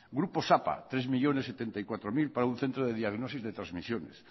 grupo sapa tres millónes setenta y cuatro mil para un centro de diagnosis de transmisiones